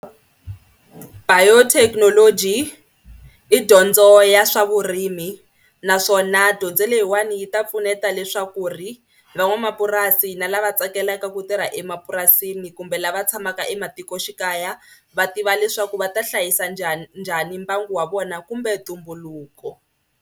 Biotechnology i dyondzo ya swa vurimi naswona dyondzo leyiwani yi ta pfuneta leswaku ri van'wamapurasi na lava tsakelaka ku tirha emapurasini kumbe lava tshamaka ematikoxikaya va tiva leswaku va ta hlayisa njhani njhani mbangu wa vona kumbe ntumbuluko.